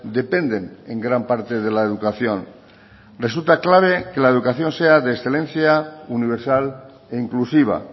dependen en gran parte de la educación resulta clave que la educación sea de excelencia universal e inclusiva